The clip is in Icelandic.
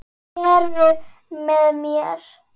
Heru með mér.